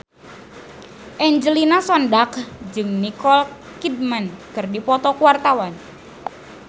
Angelina Sondakh jeung Nicole Kidman keur dipoto ku wartawan